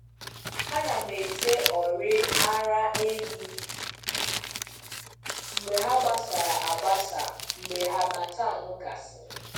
Ana m ete ọrị ara ehi mgbe ha gbasara agbasa mgbe harmattan gasịrị.